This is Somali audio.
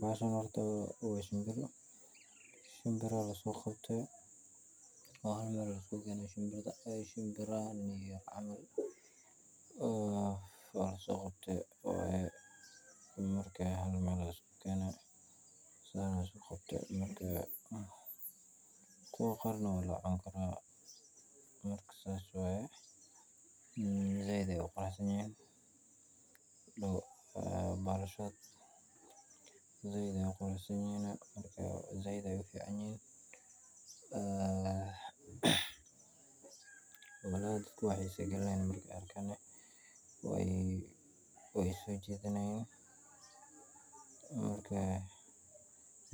Bahashan horta wa shimbir shimbir la soqabta, waxaan ad argtid wa shimbir shimirahan iyo la soqabta marka halmar aya lisku gani saan aya lisku qabta marka, kuwa qar nah wa lacunkarah, marka saas waya said ayay u qurusanyihin hadow balashod said ayay u qurusanyihin said ayay uficanyihin aah, wa kuwa ku xisa galnayin marka arga aniga way iso jidanayin, marka